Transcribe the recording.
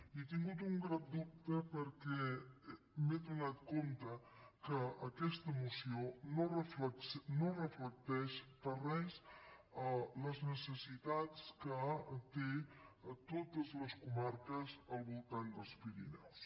he tingut un gran dubte perquè m’he adonat que aquesta moció no reflecteix gens les necessitats que tenen totes les comarques al voltant dels pirineus